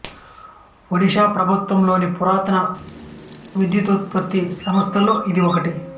ఒడిషా ప్రభుత్వం లోని పురాతన విద్యుదుత్పత్తి సంస్థలలో ఇది ఒకటి